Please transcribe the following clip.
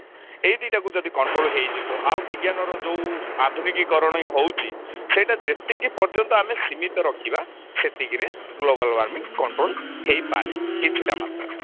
ଏଇ ଦି ଟାକୁ ଯଦି control ହେଇଯିବ ଆଉ ବିଜ୍ଞାନର ଯଉ ଆଧୁନିକିକରଣ ହଉଛି ସେଇଟା ଯେତିକି ପର୍ଯ୍ୟନ୍ତ ଆମେ ସୀମିତ ରଖିବା ସେତିକିରେ global warming control ହେଇପାରେ କିଛିଟା ମାତ୍ରାରେ